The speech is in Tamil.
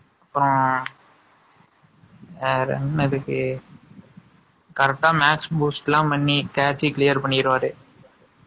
அப்புறம், வேற என்ன இதுக்கு? Correct ஆ, match boost எல்லாம் பண்ணி, catchy clear பண்ணிடுவா